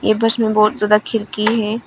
बस में बहुत ज्यादा खिड़की है।